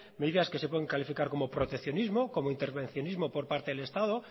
medidas que se pueden calificar como proteccionismo como intervencionismo por parte del estado